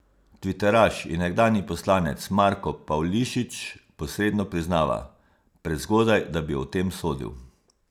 Tviteraš in nekdanji poslanec Marko Pavlišič posredno priznava: 'Prezgodaj, da bi o tem sodil.